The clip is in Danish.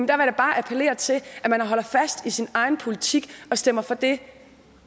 da bare appellere til at man holder fast i sin egen politik og stemmer for det